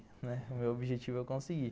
O meu objetivo é conseguir.